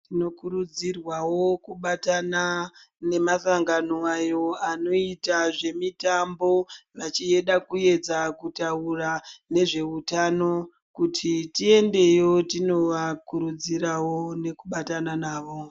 Tino kurudzirwawo kubatana nemasangano ayo anoita zvemitambo, vachida kuedza kutaura nezveutano, kuti tiendeyo tinobvakurudzirawo nekubatsna navo.